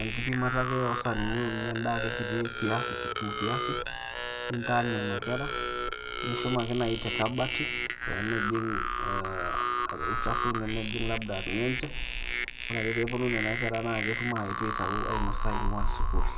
enkipimata ake o sanini uni endaa ake kitii kiasi, kipimo kiasi ,nitaany nena kera. Nishum ake nai te kabati ,pemejing' ah olchafu nemejing' labda irng'enche. Ore ake peponu nena kera na ketum aetu aitayu ainosa eing'ua sukuul.